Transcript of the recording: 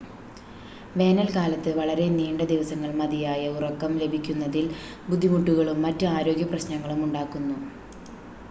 വേനൽക്കാലത്ത് വളരെ നീണ്ട ദിവസങ്ങൾ മതിയായ ഉറക്കം ലഭിക്കുന്നതിൽ ബുദ്ധിമുട്ടുകളും മറ്റ് ആരോഗ്യ പ്രശ്നങ്ങളും ഉണ്ടാക്കുന്നു